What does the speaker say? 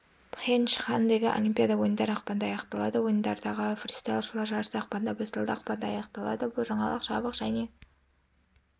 пхенчхандегі олимпиада ойындары ақпанда аяқталады ойындардағы фристайлшылар жарысы ақпанда басталды ақпанда аяқталады бұл жаңалық жабық және